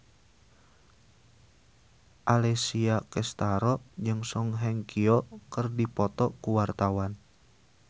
Alessia Cestaro jeung Song Hye Kyo keur dipoto ku wartawan